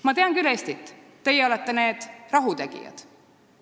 "Ma tean küll Eestit – teie olete need rahutegijad!